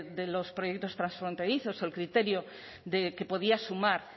de los proyectos transfronterizos el criterio de que podía sumar